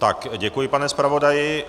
Tak, děkuji, pane zpravodaji.